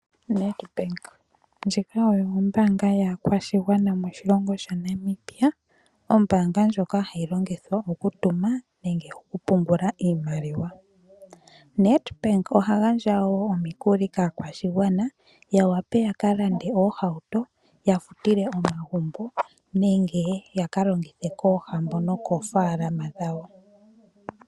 Nedbank Ndjika oyo ombaanga yaakwashigwana moshilongo shaNamibia, ombaanga ndjoka hayi longithwa okutuma, nenge okupungula iimaliwa. Nedbank oha gandja wo omikuli kaakwashigwana, ya wape yaka lande oohauto ya futile omagumbo, nenge yaka longithe koohambo nokoofaalama dhawo.